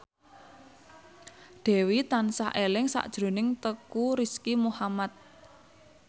Dewi tansah eling sakjroning Teuku Rizky Muhammad